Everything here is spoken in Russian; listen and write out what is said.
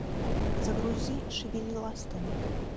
загрузи шевели ластами